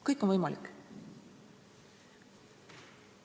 Kõik on võimalik.